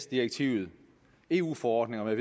direktivet eu forordninger